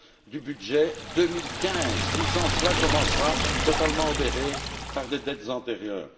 du budget 2015 qui, sans cela, commencera totalement obéré par des dettes antérieures.